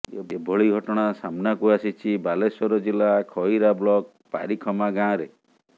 ଏଭଳି ଘଟଣା ସାମ୍ନାକୁ ଆସିଛି ବାଲେଶ୍ୱର ଜିଲ୍ଲା ଖଇରା ବ୍ଳକ ପାରିଖମା ଗାଁରେ